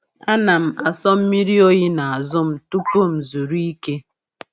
A na m aso mmiri oyi n’azụ m tupu m zuru ike.